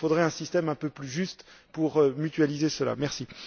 Il faudrait un système un peu plus juste pour mutualiser ces coûts.